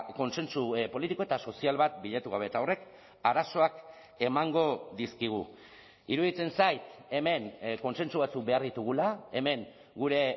kontsentsu politiko eta sozial bat bilatu gabe eta horrek arazoak emango dizkigu iruditzen zait hemen kontsentsu batzuk behar ditugula hemen gure